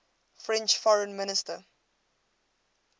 french foreign minister